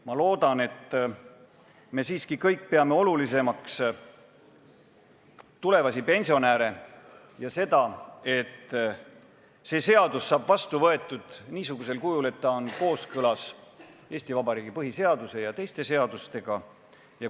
Ma loodan, et me kõik peame siiski olulisemaks tulevasi pensionäre ja seda, et see seadus saaks vastu võetud niisugusel kujul, et ta oleks kooskõlas Eesti Vabariigi põhiseaduse ja teiste seadustega.